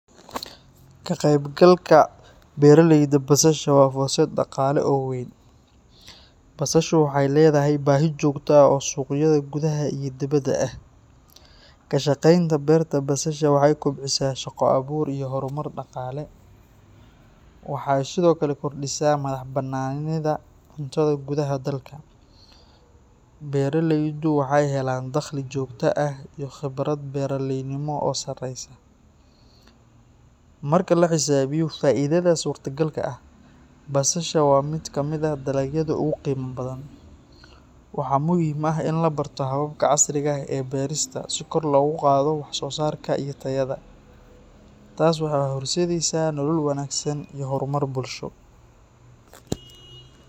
Ka qaybgalka beeraleyda basasha waa fursad dhaqaale oo weyn. Basashu waxay leedahay baahi joogto ah oo suuqyada gudaha iyo dibaddaba ah. Ka shaqaynta beerta basasha waxay kobcisaa shaqo-abuur iyo horumar dhaqaale. Waxay sidoo kale kordhisaa madax-bannaanida cuntada gudaha dalka. Beeraleydu waxay helaan dakhli joogto ah iyo khibrad beeraleynimo oo sareysa. Marka la xisaabiyo faa'iidada suurtagalka ah, basasha waa mid ka mid ah dalagyada ugu qiimaha badan. Waxaa muhiim ah in la barto hababka casriga ah ee beerista si kor loogu qaado wax-soosaarka iyo tayada. Taas waxay horseedaysaa nolol wanaagsan iyo horumar bulsho.